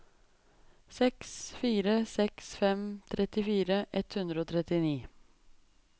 seks fire seks fem trettifire ett hundre og trettini